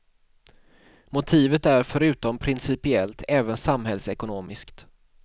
Motivet är förutom principiellt även samhällsekonomiskt.